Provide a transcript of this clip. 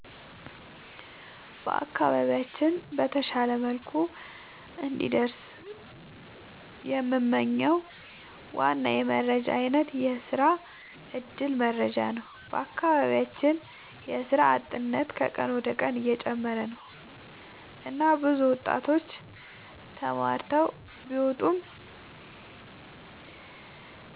በአካባቢያችን በተሻለ መልኩ እንዲደርስ የምንመኝው ዋና የመረጃ አይነት የስራ እድል መረጃ ነው። በአካባቢያችን የስራ አጥነት ከቀን ወደ ቀን እየጨመረ ነው እና ብዙ ወጣቶች ተማርተው ቢወጡም